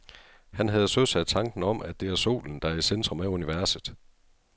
Han havde søsat tanken om, at det er solen, der er i centrum af universet.